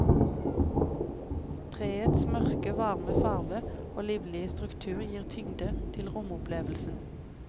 Treets mørke, varme farve og livlige struktur gir tyngde til romopplevelsen.